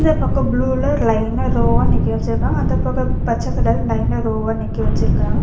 இந்த பக்கோ ப்ளூல லைனா ரோவா நிக்க வச்சுருக்காங்க அந்தப் பக்கோ பச்ச கலர் லைனா ரோவா நிக்க வச்சுருக்காங்க.